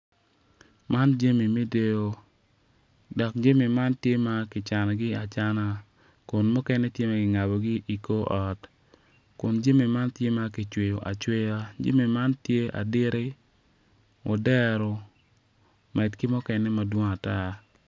Man jami me deyo dok jami man tye ma kicanogi acana kun mukene tye ma ki ngabogi i kor ot kun jami man tye ma kicweyo acweya jami tye aditti odero med ki mukene madwong ata